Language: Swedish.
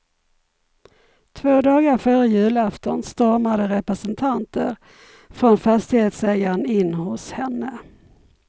Två dagar före julafton stormade representanter från fastighetsägaren in hos henne.